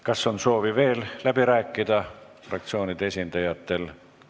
Kas on soovi veel läbi rääkida fraktsioonide esindajatel?